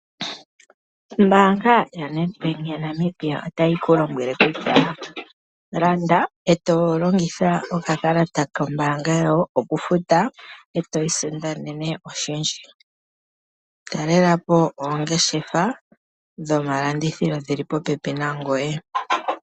Ombaanga yaNedBank yaNamibia otayi kulombwele kutya landa eto longitha okakalata kombaanga yawo okufuta eto isindanene oshindji. Talelapo oongeshefa dhomalandithilo dhi li popepi nangoye.